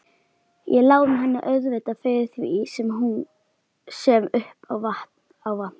Ég lána henni auðvitað fyrir því sem upp á vantar.